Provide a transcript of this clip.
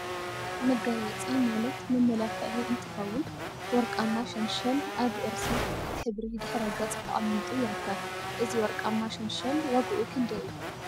መጋየፂ መጋየፂ ማለት መመላክዒ እንትኸውን፣ ወርቃማ ሸንሸል አብ እርሳ ሕብሪ ድሕረ ገፅ ተቀሚጡ ይርከብ፡፡ እዚ ወርቃማ ሸንሸል ዋግኡ ክንደይ እዩ?